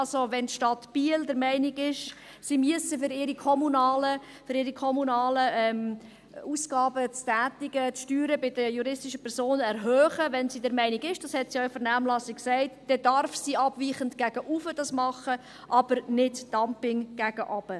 Wenn also die Stadt Biel der Meinung ist, sie müsse, um ihre kommunalen Ausgaben zu tätigen, die Steuern bei den juristischen Personen erhöhen, wenn sie dieser Meinung ist – dies hat sie ja in der Vernehmlassung gesagt –, dann darf sie dies abweichend gegen oben machen, aber kein Dumping gegen unten betreiben.